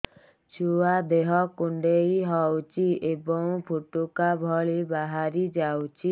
ଛୁଆ ଦେହ କୁଣ୍ଡେଇ ହଉଛି ଏବଂ ଫୁଟୁକା ଭଳି ବାହାରିଯାଉଛି